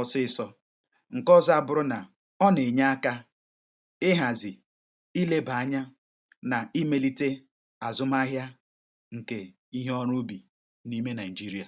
ọsụịsọ. Ihe ọzọ abụrụ na, ọ na-enye aka ịhazi, ileba anya, na imelite azụmahịa nke ihe ọrụ ubi na-ime Naị̀jịrịà.